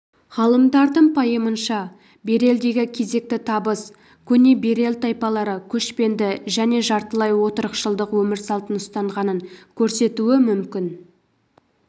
ғалымдардың пайымынша берелдегі кезекті табыс көне берел тайпалары көшпенді және жартылай отырықшылдық өмір салтын ұстанғанын көрсетуі мүмкін